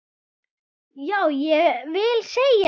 Já, ég vil segja eitt!